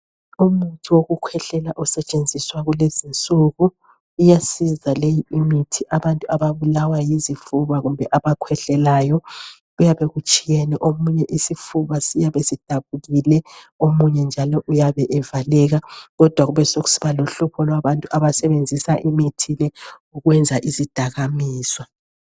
Umuthi wokukhwehlela osetshenziswa kulezi izinsuku. Iyasiza le imithi abantu ababulawa yizifuba kumbe abakhwehlelayo. Kuyabe kutshiyene omunye isifuba siyabe sidabukile omunye njalo uyabe evaleka kodwa kube sokusiba lohlupho lwabantu abasebenzisa imithi le ukwenza izidakamizwa.